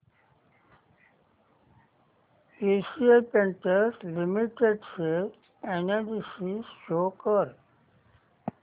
Asian Paints Limited share analysis show कर